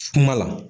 Kuma la